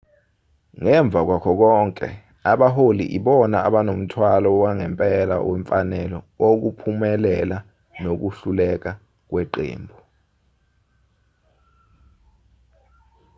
ngemva kwakho konke abaholi ibona abonomthwalo wangempela wemfanelo wokuphumelela nokuhluleka kweqembu